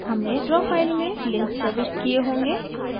हमने draw file में links प्रविष्ट किये होंगे